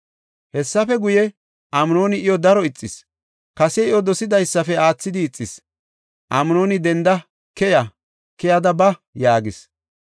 Hessafe guye, Amnooni iyo daro ixis; kase iyo dosidaysafe aathidi ixis. Amnooni, denda, “Keya! Keyada ba!” yaagis.